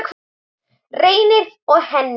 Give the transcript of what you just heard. Reynir og Henný.